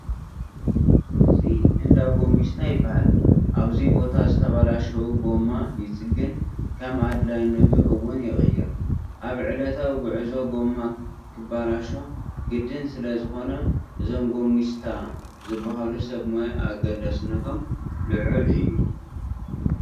እዚ እንዳ ጐሚስታ ይበሃል፡፡ ኣብዚ ቦታ ዝተበላሸው ጐማ ይፅገን ከም ኣድላይነቱ እውን ይቕየር፡፡ ኣብ ዕለታዊ ጉዕዞ ጐማ ክበላሾ ግድን ስለዝኾነ እዞም ጐሚስታ ዝበሃሉ ሰብ ሞያ ኣገዳስነቶም ልዑል እዩ፡፡